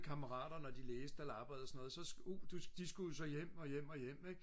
kammerater når de læste eller arbejdede og så noget så de skulle jo så hjem og hjem og hjem ik